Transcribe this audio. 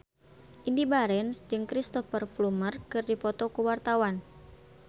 Indy Barens jeung Cristhoper Plumer keur dipoto ku wartawan